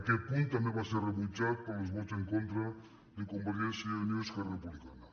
aquest punt també va ser rebutjat pels vots en contra de convergència i unió i esquerra republicana